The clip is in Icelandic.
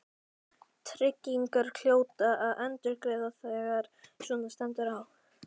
Tryggingarnar hljóta að endurgreiða þegar svona stendur á.